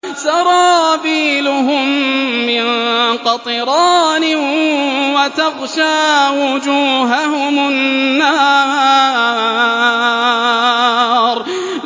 سَرَابِيلُهُم مِّن قَطِرَانٍ وَتَغْشَىٰ وُجُوهَهُمُ النَّارُ